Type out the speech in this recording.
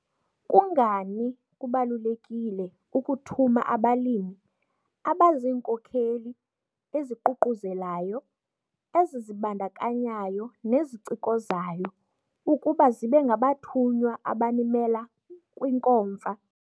Kungani kubalulekile ukuthuma abalimi abaziinkokeli eziququzelayo, ezizibandakanyayo nezicikozayo ukuba zibe ngabathunywa abanimela kwiNkomfa?